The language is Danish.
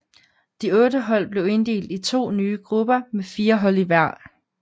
De otte hold blev inddelt i to nye grupper med fire hold i hver